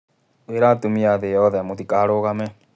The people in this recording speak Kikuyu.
Ngũira atumia thĩ yothe: mũtikarũgame.